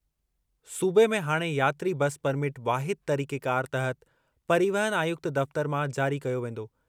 सूबे में हाणे यात्री बस परमिट वाहिद तरीक़ेकार तहति परिवहन आयुक्त दफ़्तर मां जारी कयो वेंदो।